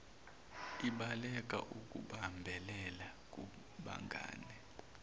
ibaleka ukubambelela kubangane